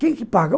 Quem que paga?